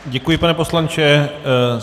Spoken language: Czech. Děkuji, pane poslanče.